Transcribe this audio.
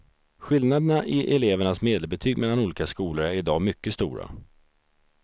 Skillnaderna i elevernas medelbetyg mellan olika skolor är idag mycket stora.